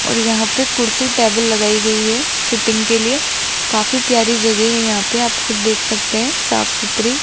और यहां पे कुर्सी टेबल लगाई गई है सीटिंग के लिए काफी प्यारी जगह है यहां पे आप खुद देख सकते हैं साफ-सुथरी।